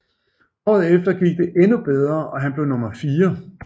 Året efter gik det endnu bedre og han blev nummer fire